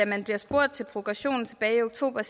man blev spurgt til progression tilbage i oktober og